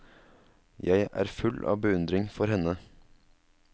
Jeg er full av beundring for henne.